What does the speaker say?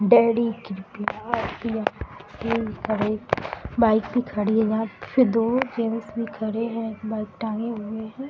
Bike भी खड़ी है यहाँ पे। फिर दो जेन्ट्स भी खड़े हैं। एक बैग टांगे हुए हैं।